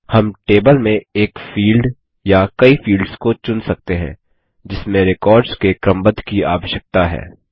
हम टेबल में एक फील्ड या कई फील्ड्स को चुन सकते हैं जिसमें रेकॉर्ड्स के क्रमबद्ध की आवश्यकता है